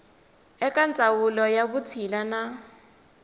eka ndzawulo ya vutshila na